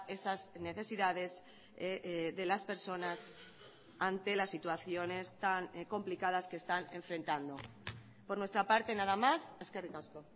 esas necesidades de las personas ante las situaciones tan complicadas que están enfrentando por nuestra parte nada más eskerrik asko